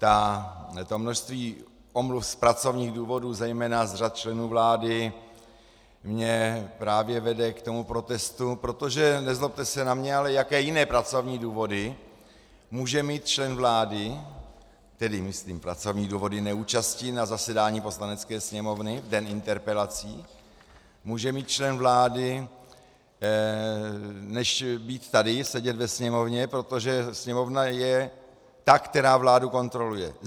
To množství omluv z pracovních důvodů zejména z řad členů vlády mě právě vede k tomu protestu, protože, nezlobte se na mě - ale jaké jiné pracovní důvody může mít člen vlády, tedy myslím pracovní důvody neúčasti na zasedání Poslanecké sněmovny v den interpelací, může mít člen vlády, než být tady, sedět ve Sněmovně, protože Sněmovna je ta, která vládu kontroluje?